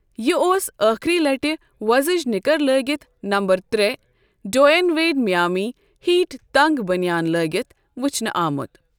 یہِ اوس ٲخری لٹہِ وۄزٕجۍ نِکَر لٲگِتھ نَمبر ترےٚ ڈوین ویڈ مِیامی ہیٖٹ تنٛگ بٔنِیان لٲگِتھ وٕچھنہٕ آمُت۔